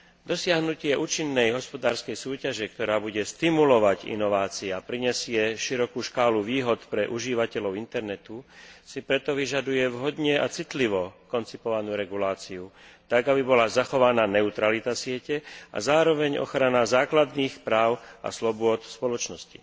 Dosiahnutie účinnej hospodárskej súťaže, ktorá bude stimulovať inovácie a prinesie širokú škálu výhod pre užívateľov internetu si preto vyžaduje vhodne a citlivo koncipovanú reguláciu tak, aby bola zachovaná neutralita siete a zároveň ochrana základných práv a slobôd spoločnosti.